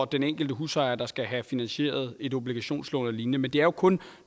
den enkelte husejer der skal have finansieret et obligationslån eller lignende men det er jo kun